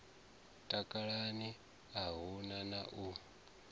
takalani a hu na u